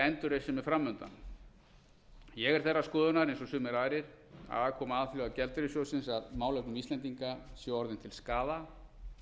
er fram undan ég er þeirrar skoðunar eins og sumir aðrir að aðkoma alþjóðagjaldeyrissjóðsins að málefnum íslendinga sé orðin til skaða